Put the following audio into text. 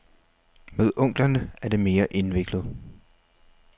Med onklerne er det mere indviklet.